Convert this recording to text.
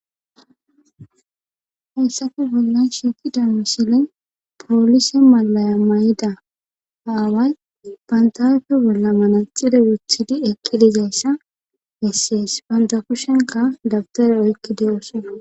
hessafe bollan shiikida misile poolise malaya mayida aaway bantafe bolla mana xide wothidi ekqi dizayssa hessiyes bandakushenka dabtare oykki de7oose